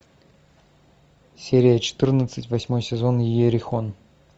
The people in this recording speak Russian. серия четырнадцать восьмой сезон иерихон